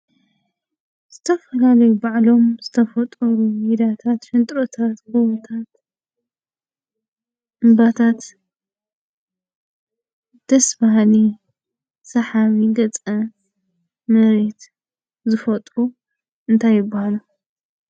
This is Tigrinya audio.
ዝተፈላለዩ ባዕሎም ዝተፈጠሩ ሜዳታት፣ ሽንጥሮታት፣ ጎቦታት፣ እምባታት፣ ደስ በሃሊ፣ ሳሓቢ ገፀ መሬት ዝፈጥሩ እንታይ ይበሃሉ?